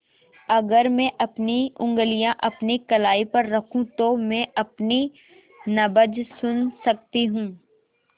अगर मैं अपनी उंगलियाँ अपनी कलाई पर रखूँ तो मैं अपनी नब्ज़ सुन सकती हूँ